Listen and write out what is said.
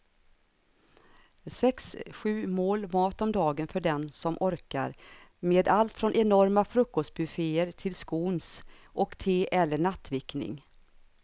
Sex, sju mål mat om dagen för den som orkar med allt från enorma frukostbufféer till scones och te eller nattvickning.